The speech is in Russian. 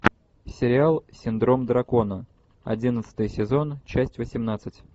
сериал синдром дракона одиннадцатый сезон часть восемнадцать